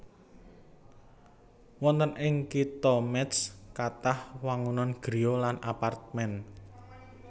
Wonten ing Kitha Métz kathah wangunan griya lan apartemén